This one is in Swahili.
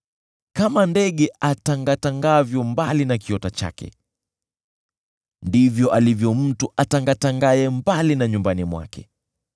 Kama ndege atangatangavyo mbali na kiota chake, ndivyo alivyo mtu atangatangaye mbali na nyumbani mwake.